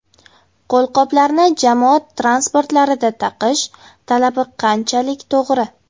Qo‘lqoplarni jamoat transportlarida taqish talabi qanchalik to‘g‘ri?